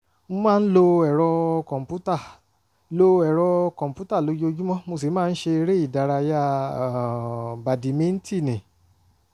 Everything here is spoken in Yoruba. mo máa ń lo ẹ̀rọ kọ̀m̀pútà lo ẹ̀rọ kọ̀m̀pútà lójoojúmọ́ mo sì máa ń ṣe eré ìdárayá um bàdìmíntínnì